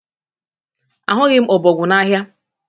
Ahụghị m ọbọgwụ n'ahịa.